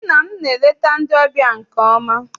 Nne m na-eleta ndị ọbịa nke ọma.